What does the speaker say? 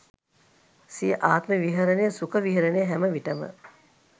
සිය ආත්ම විහරණය සුඛ විහරණය හැමවිටම